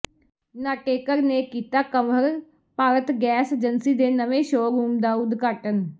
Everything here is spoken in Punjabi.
ਨਾਟੇਕਰ ਨੇ ਕੀਤਾ ਕੰਵਰ ਭਾਰਤ ਗੈਸ ਏਜੰਸੀ ਦੇ ਨਵੇਂ ਸ਼ੋਅ ਰੂਮ ਦਾ ਉਦਘਾਟਨ